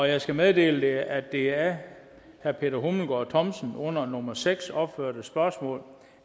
jeg skal meddele at det af herre peter hummelgaard thomsen under nummer seks opførte spørgsmål